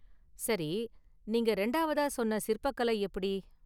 சரி, நீங்க ரெண்டாவதா சொன்ன சிற்பக் கலை எப்படி?